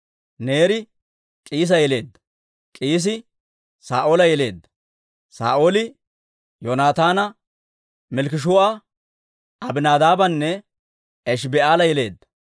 Neeri K'iisa yeleedda; K'iisi Saa'oola yeleedda. Saa'ooli Yoonataana, Malkkishuu'a, Abinaadaabanne Eshiba'aala yeleedda.